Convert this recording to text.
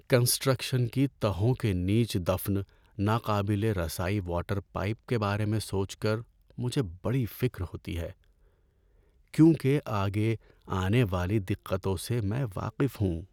Construction کی تہوں کے نیچے دفن ناقابل رسائی واٹر پائپ کے بارے میں سوچ کر مجھے بڑی فکر ہوتی ہے، کیونکہ آگے آنے والی دقتوں سے میں واقف ہوں۔